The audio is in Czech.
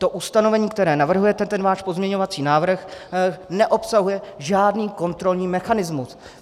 To ustanovení, které navrhujete, ten váš pozměňovací návrh neobsahuje žádný kontrolní mechanismus.